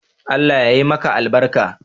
Allah yayi maka albarka.